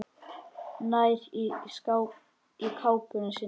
Nær í kápuna sína.